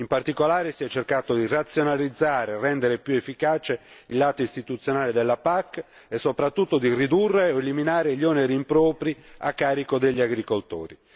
In particolare, si è cercato di razionalizzare e rendere più efficace il lato istituzionale della PAC e soprattutto di ridurre o eliminare gli oneri impropri a carico degli agricoltori.